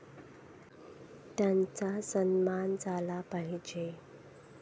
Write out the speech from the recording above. त्यांचा सन्मान झाला पाहिजे.